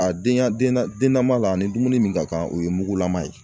A denya denna ma la, a ni dumuni min ka kan o ye mugulama ye.